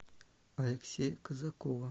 алексея казакова